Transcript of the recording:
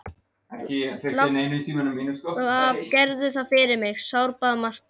Láttu af, gerðu það fyrir mig, sárbað Marta.